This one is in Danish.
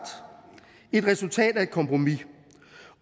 et resultatet af et kompromis